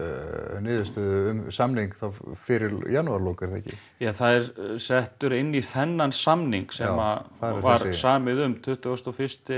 niðurstöðu um samning þá fyrir janúarlok er það ekki ja það er settur inn í þennan samning sem var samið um tuttugasta og fyrsta